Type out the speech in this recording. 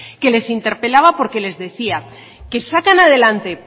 que les interpelaba porque les decía que sacan adelante